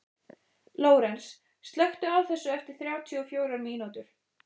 Lórens, slökktu á þessu eftir þrjátíu og fjórar mínútur.